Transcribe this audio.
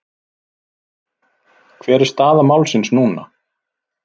Hver er staða málsins núna?